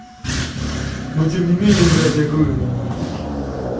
но тем не менее блять я гово уу